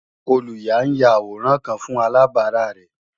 Olùyà ń ya àwòrán kan fún alàbárà rẹ̀